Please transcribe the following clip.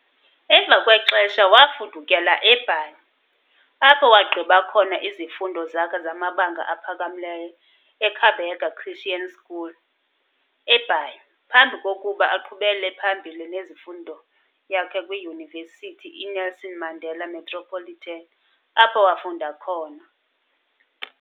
Emva kwexesha wafudukela eBhayi, apho wagqiba khona izifundo zakhe zamabanga aphakamileyo eKabega Christian School, eBhayi, phambi kokuba aqhubele phambili nezifundo yakhe kwiDyunivesithi iNelson Mandela Metropolitan, apho wafunda khona .